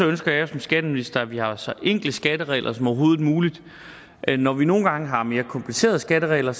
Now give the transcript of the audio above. ønsker jeg som skatteminister at vi har så enkle skatteregler som overhovedet muligt men når vi nogle gange har mere komplicerede skatteregler